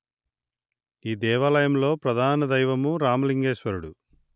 ఈ దేవాలయంలో ప్రధాన దైవము రామలింగేశ్వరుడు